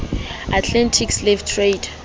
atlantic slave trade